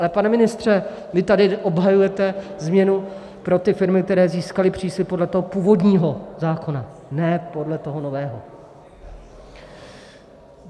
Ale, pane ministře, vy tady obhajujete změnu pro ty firmy, které získaly příslib podle toho původního zákona, ne podle toho nového.